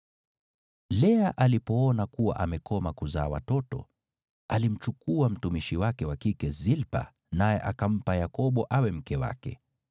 Lea alipoona kuwa amekoma kuzaa watoto, alimchukua mtumishi wake wa kike Zilpa, naye akampa Yakobo awe mke wake.